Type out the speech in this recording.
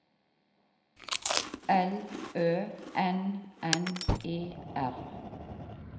L Ø N N E R